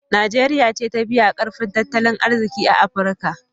Najeriya ce ta biyu a ƙarfin tattalin arziƙi a Afirka.